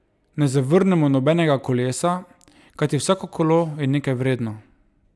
Ne zavrnemo nobenega kolesa, kajti vsako kolo je nekaj vredno!